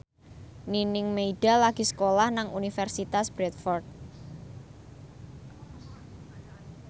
Nining Meida lagi sekolah nang Universitas Bradford